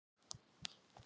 Ég veit ekki af hverju.